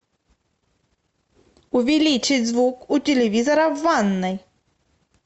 увеличить звук у телевизора в ванной